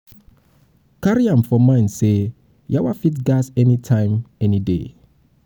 carry am for for mind sey yawa fit gas anytime any day